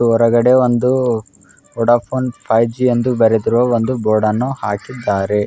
ಹೊರಗಡೆ ಒಂದು Vodafone five G ಅಂತ ಬರೆದಿರುವ ಒಂದು ಬೋರ್ಡ್ ಅನ್ನು ಹಾಕಿದರೆ .